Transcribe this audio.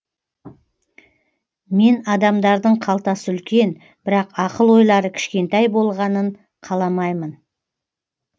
мен адамдардың қалтасы үлкен бірақ ақыл ойлары кішкентай болғанын қаламаймын